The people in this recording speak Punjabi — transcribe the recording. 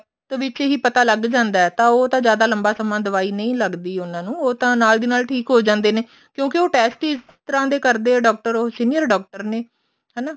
ਵਿੱਚ ਹੀ ਪਤਾ ਲੱਗ ਜਾਂਦਾ ਤਾਂ ਉਹ ਤਾਂ ਜਿਆਦਾ ਲੰਬਾ ਸਮਾ ਦਵਾਈ ਨਹੀਂ ਲੱਗਦੀ ਉਹਨਾ ਨੂੰ ਉਹ ਤਾਂ ਨਾਲ ਦੀ ਨਾਲ ਠੀਕ ਹੋ ਜਾਂਦੇ ਨੇ ਕਿਉਂਕਿ ਉਹ test ਹੀ ਇਸ ਤਰ੍ਹਾਂ ਕਰਦੇ ਆ ਡਾਕਟਰ ਉਹ senior ਡਾਕਟਰ ਨੇ ਹਨਾ